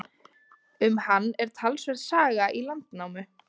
Um hann er talsverð saga í Landnámu.